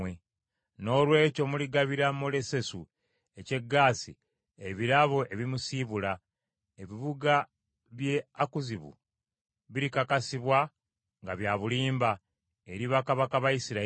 Noolwekyo muligabira Molesesu eky’e Gaasi ebirabo ebimusiibula. Ebibuga by’e Akuzibu birikakasibwa nga bya bulimba eri bakabaka ba Isirayiri.